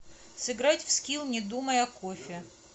сыграть в скилл не думай о кофе